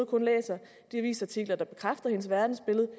kun læser de avisartikler der bekræfter hendes verdensbillede og